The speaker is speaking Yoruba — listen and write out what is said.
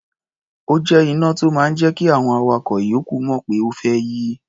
Ó jẹ́ iná tó máa ń jẹ́ kí àwọn awakọ̀ ìyókù mọ̀ pé o fẹ́ yí.